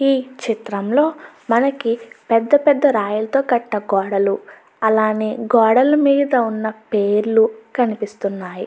ఈ చిత్రంలో మనకి పెద్ద పెద్ద రాయలతో కట్ట గోడలు అలానే గోడల మీద ఉన్న పేర్లు కనిపిస్తున్నాయి.